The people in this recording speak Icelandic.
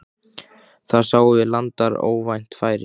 Þar sáum við landar óvænt færi.